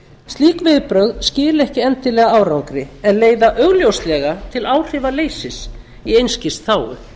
slík viðbrögð skila ekki endilega árangri en leiða augljóslega til áhrifaleysis í einskis þágu